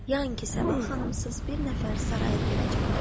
Yəni ki, Sabah xanımsız bir nəfər saraya gələcəkdir.